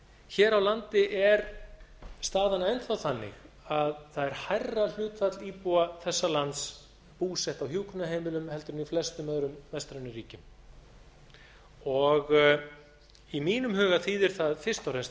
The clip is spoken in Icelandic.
hér á landi er staðan enn þá þannig að það er hærra hlutfall íbúa þessa lands búsett á hjúkrunarheimilum en í flestum öðrum vestrænum ríkjum í mínum huga þýðir það fyrst og fremst